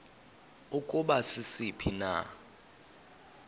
ukuba sisiphi na